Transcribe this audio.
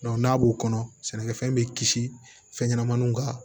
n'a b'o kɔnɔ sɛnɛkɛfɛn bɛ kisi fɛn ɲɛnɛmaninw ka